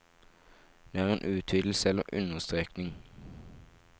Det er en utvidelse eller understrekning.